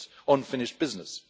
It is unfinished business.